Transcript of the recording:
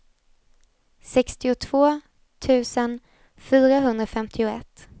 sextiotvå tusen fyrahundrafemtioett